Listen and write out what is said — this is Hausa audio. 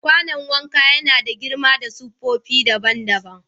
Kwanon wanka ya na da girma da siffofi daban-daban.